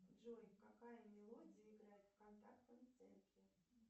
джой какая мелодия играет в контактном центре